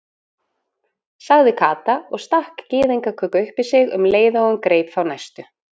sagði Kata og stakk gyðingaköku upp í sig um leið og hún greip þá næstu.